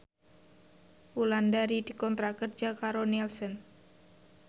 Wulandari dikontrak kerja karo Nielsen